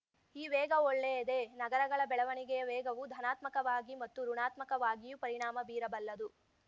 ಈ ವೇಗ ಒಳ್ಳೆಯದೇ ನಗರಗಳ ಬೆಳವಣಿಗೆಯ ವೇಗವು ಧನಾತ್ಮಕವಾಗಿ ಮತ್ತು ಋುಣಾತ್ಮಕವಾಗಿಯೂ ಪರಿಣಾಮ ಬೀರಬಲ್ಲದು